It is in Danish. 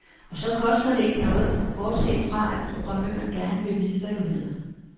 Og så koster det ikke noget, bortset fra at programmøren gerne vil vide, hvad du hedder.